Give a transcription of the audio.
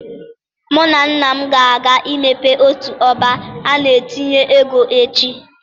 Mụ na nna m ga-aga imepe otu ọbá a na-etinye ego echi